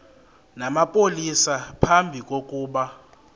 namapolisa phambi kokuba